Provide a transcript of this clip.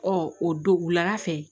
Ɔ o don wulada fɛ